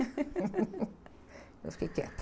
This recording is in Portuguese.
Mas fiquei quieta.